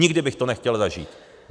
Nikdy bych to nechtěl zažít.